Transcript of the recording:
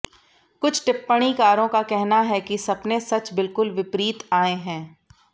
कुछ टिप्पणीकारों का कहना है कि सपने सच बिल्कुल विपरीत आए हैं